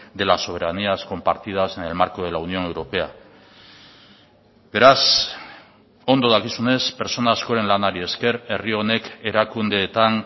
de las soberanías compartidas en el marco de la unión europea beraz ondo dakizunez pertsona askoren lanari esker herri honek erakundeetan